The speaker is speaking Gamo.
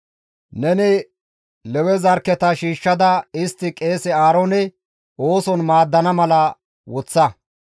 «Neni Lewe zarkketa shiishshada istti qeese Aaroone ooson maaddana mala woththa.